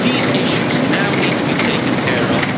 These issues now need to be taken care of.